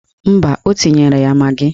Mba, o tinyere ya magị